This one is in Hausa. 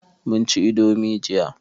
mun ci indomi jiya